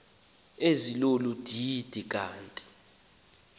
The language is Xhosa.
ezilolu didi kanti